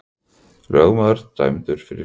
Lögmaður dæmdur fyrir umboðssvik